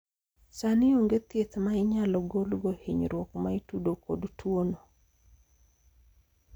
sani onge thieth ma inyalo golgo hinyruok ma itudo kod tuono